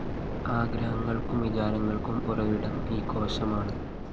ആഗ്രഹങ്ങള്‍ക്കും വിചാരങ്ങള്‍ക്കും ഉറവിടം ഈ കോശമാണ്